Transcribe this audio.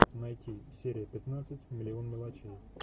найти серия пятнадцать миллион мелочей